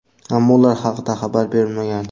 ammo ular haqida xabar berilmagan.